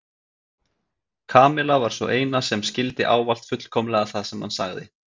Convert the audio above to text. Kamilla var sú eina sem skildi ávallt fullkomlega það sem hann sagði.